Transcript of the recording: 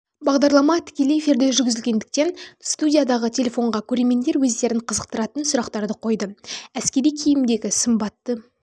болды бағдарлама тікелей эфирде жүргізілгендіктен студиядағы телефонға көрермендер өздерін қызықтыратын сұрақтарды қойды әскери киімдегі сымбатты